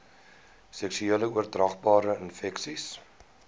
seksueel oordraagbare infeksies